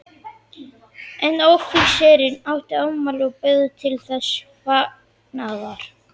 Einn offíserinn átti afmæli og bauð til þessa fagnaðar.